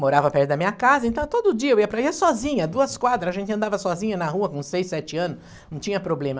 Morava perto da minha casa, então todo dia eu ia para ir sozinha, duas quadras, a gente andava sozinha na rua com seis, sete anos, não tinha problema.